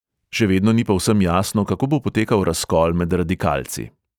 Še vedno ni povsem jasno, kako bo potekal razkol med radikalci.